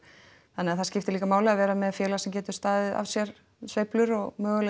þannig að það skiptir líka máli að vera með félag sem getur staðið af sér sveiflur og möguleg